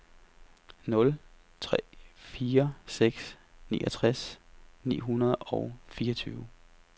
nul tre fire seks niogtres ni hundrede og fireogtyve